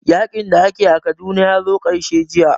Yaƙin da ake a Kaduna ya zo ƙarshe jiya